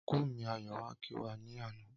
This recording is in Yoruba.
Ọnkú mi Ayọ̀ wáá kí wa ní àná